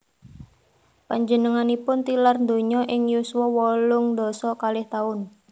Panjenenganipun tilar donya ing yuswa wolung dasa kalih taun